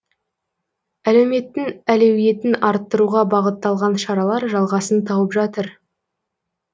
әлеуметтің әлеуетін арттыруға бағытталған шаралар жалғасын тауып жатыр